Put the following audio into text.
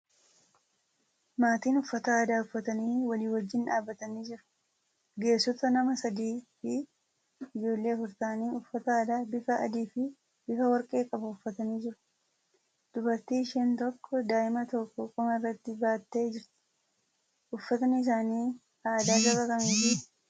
Maatiin uffata aadaa uffatanii walii wajjin dhaabbatanii jiru. Ga'eessota nama sadiifi ijoollee afur ta'anii uffata aadaa bifa adiifi bifa warqee qabu uffatanii jiru. Dubartii isheen tokko daa'ima tokko qoma irratti baattee jirti. Uffatni isaanii aadaa saba kamiiti?